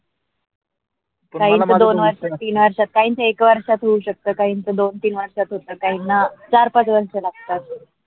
काहीं दोन वर्षं तीन वर्षं काहीना एक वर्षात होऊ शकते काहीना दोन तीन वर्षात होत काहीना चार पाच वर्षं लागतात.